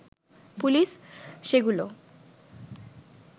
police সেগুলো